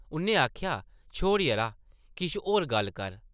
उʼन्नै आखेआ, ‘‘छोड़ यरा, किश होर गल्ल कर ।’’